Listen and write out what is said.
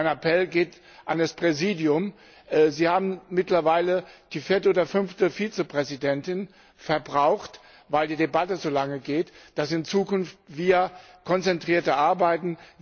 Mein Appell geht an das Präsidium Sie haben mittlerweile die vierte oder fünfte Vizepräsidentin verbraucht, weil die Debatte so lange geht dass wir in Zukunft konzentrierter arbeiten.